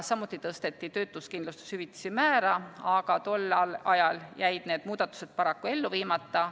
Samuti tõsteti töötuskindlustushüvitise määra, aga tol ajal jäid need muudatused paraku ellu viimata.